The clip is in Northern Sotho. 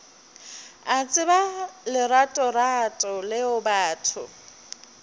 a tseba leratorato leo batho